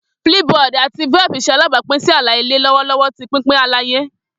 Flipboard ati Velp ṣe alabapin si ala-ilẹ lọwọlọwọ ti pinpin alaye.